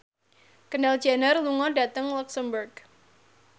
Kendall Jenner lunga dhateng luxemburg